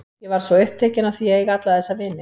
Ég varð svo upptekin af því að eiga alla þessa vini.